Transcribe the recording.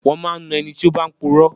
Wón máa ń na ẹni tí ó bá ń puro.